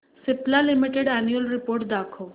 Cipla limited annual report दाखव